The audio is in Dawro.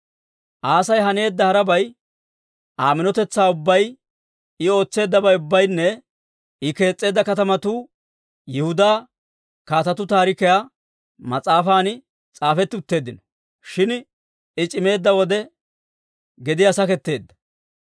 Aasi haneedda harabay, Aa minotetsaa ubbay, I ootseeddabay ubbaynne I kees's'eedda katamatuu Yihudaa Kaatetuu Taarikiyaa mas'aafan s'aafetti utteeddino. Shin I c'imeedda wode gediyaa saketteedda.